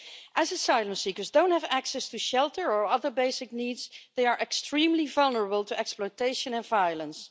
As asylum seekers don't have access to shelter or other basic needs, they are extremely vulnerable to exploitation and violence.